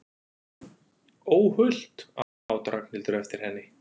Óhult! át Ragnhildur eftir henni.